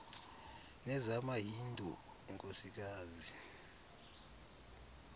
nezama hindu inkosikazi